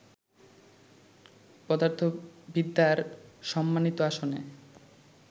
পদার্থবিদ্যার সম্মানিত আসনে